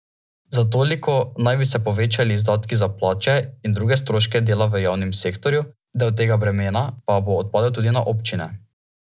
Za toliko naj bi se povečali izdatki za plače in druge stroške dela v javnem sektorju, del tega bremena pa bo odpadel tudi na občine.